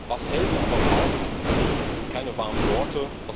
Was Helden aber brauchen, sind keine warmen Worte.